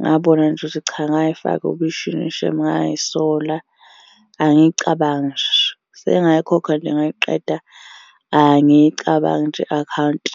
Ngabona nje ukuthi cha ngay'faka obishini shame ngay'sola, angiyicabangi nje. Sengayikhokha nje ngayiqeda, angiyicabangi nje i-akhawunti.